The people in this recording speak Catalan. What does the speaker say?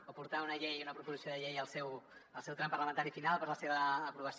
o portar una proposició de llei al seu tram parlamentari final per a la seva aprovació